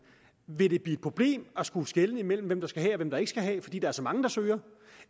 vil det blive et problem at skulle skelne imellem hvem der skal have og hvem der ikke skal have fordi der er så mange der søger